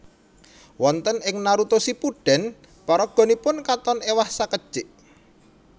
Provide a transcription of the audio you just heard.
Wonten ing Naruto Shippuden paraganipun katon ewah sakedjik